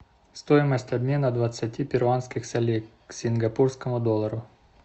стоимость обмена двадцати перуанских солей к сингапурскому доллару